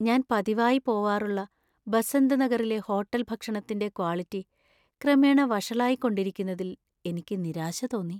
ഞാൻ പതിവായി പോവാറുള്ള ബസന്ത് നഗറിലെ ഹോട്ടല്‍ ഭക്ഷണത്തിന്‍റെ ക്വാളിറ്റി ക്രമേണ വഷളായിക്കൊണ്ടിരിക്കുന്നതിൽ എനിക്ക് നിരാശ തോന്നി.